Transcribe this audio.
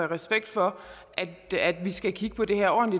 respekt for at vi skal kigge på det her og